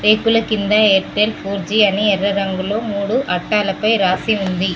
రేకుల కింద Airtel four G అని ఎర్ర రంగులో మూడు అద్దాలపై రాసి ఉంది.